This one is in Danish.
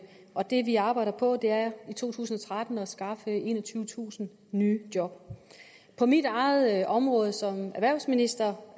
og det vi arbejder på er i to tusind og tretten at skaffe enogtyvetusind nye job på mit eget område som erhvervsminister